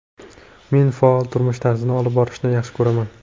Men faol turmush tarzini olib borishni yaxshi ko‘raman.